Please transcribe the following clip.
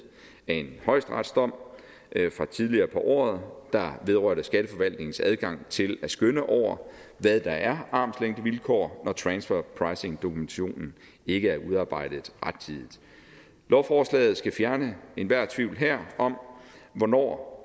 af en højesteretsdom fra tidligere på året der vedrørte skatteforvaltningens adgang til at skønne over hvad der er armslængdevilkår når transferpricingdokumentationen ikke er udarbejdet rettidigt lovforslaget skal fjerne enhver tvivl om hvornår